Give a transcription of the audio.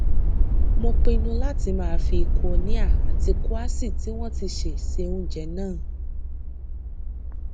mo pinnu láti máa fi kúínóà àti kúàṣì tí wón ti sè ṣe oúnjẹ náà